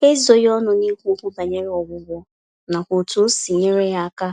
Ha ezoghị ọnụ n'ikwu okwu banyere ọgwụgwọ, nakwa otú osi nyere ya aka